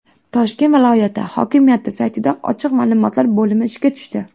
Toshkent viloyati hokimiyati saytida ochiq ma’lumotlar bo‘limi ishga tushdi.